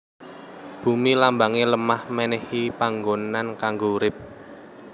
Bumi Lambange lemah menehi panggonan kanggo urip